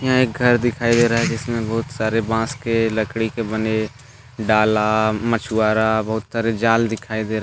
एक घर दिखाई दे रहा है जिसमें बहुत सारे बांस के लकड़ी के बने डाला मछुआरा बहुत सारे जाल दिखाई दे रहे हैं।